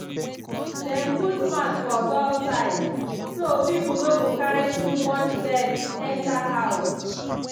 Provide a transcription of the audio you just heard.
dem put mat for door side so people no go carry too much dirt enter house.